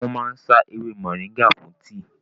Wọ́n máa ń sá ewé mọ̀nríngà fún tíì